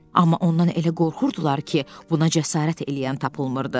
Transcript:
Amma ondan elə qorxurdular ki, buna cəsarət eləyən tapılmırdı.